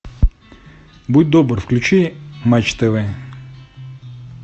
будь добр включи матч тв